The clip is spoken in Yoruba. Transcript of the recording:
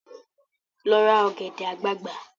Lọ ra ọ̀gẹ̀dẹ̀ àgbagbà!